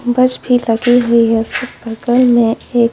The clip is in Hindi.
बस भी लगी हुई हैं उसके बगल में एक--